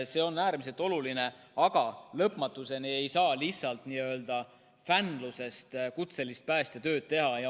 See on äärmiselt oluline, aga lõpmatuseni ei saa lihtsalt n‑ö fänlusest kutselist päästetööd teha.